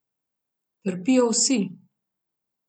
Trpijo vsi.